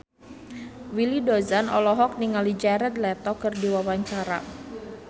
Willy Dozan olohok ningali Jared Leto keur diwawancara